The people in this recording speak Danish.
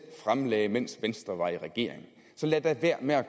fremlagde mens venstre var i regering så lad da være med at